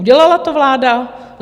Udělala to vláda?